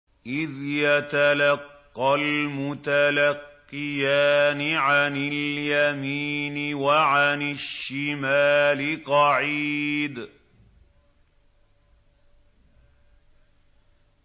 إِذْ يَتَلَقَّى الْمُتَلَقِّيَانِ عَنِ الْيَمِينِ وَعَنِ الشِّمَالِ قَعِيدٌ